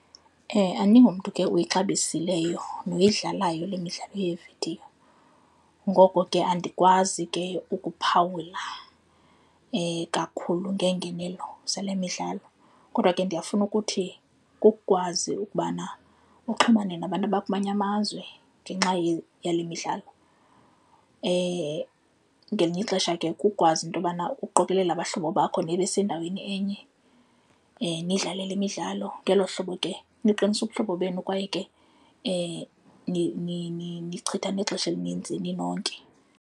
Andingomntu ke uyixabisileyo noyidlalayo le midlalo yevidiyo. Ngoko ke andikwazi ke ukuphawula kakhulu ngeengenelo zale midlalo. Kodwa ke ndiyafuna ukuthi kukwazi ukubana uxhumane nabantu abakumanye amazwe ngenxa yale midlalo. Ngelinye ixesha ke kukwazi into yobana uqokelela abahlobo bakho nibe sendaweni enye, nidlale le midlalo, ngelo hlobo ke niqinisa ubuhlobo benu kwaye ke nichitha nexesha elinintsi ninonke.